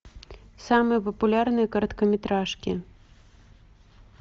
самые популярные короткометражки